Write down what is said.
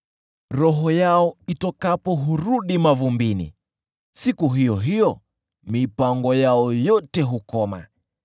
Roho yao itokapo hurudi mavumbini, siku hiyo hiyo mipango yao yote hukoma.